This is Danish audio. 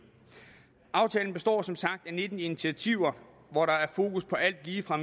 aftalen består som sagt af nitten initiativer hvor der er fokus på alt lige fra